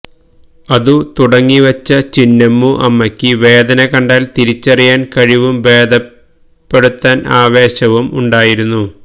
അതു തുടങ്ങിവെച്ച ചിന്നമ്മു അമ്മക്ക് വേദന കണ്ടാൽ തിരിച്ചറിയാൻ കഴിവും ഭേദപ്പെടുത്താൻ ആവേശവും ഉണ്ടായിരുന്നു